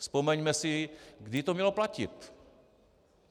Vzpomeňme si, kdy to mělo platit.